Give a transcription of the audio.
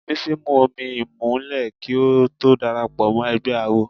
Bísí mu omi ìmùlẹ̀ kí ó tó darapọ̀ mọ́ ẹgbẹ́ awo.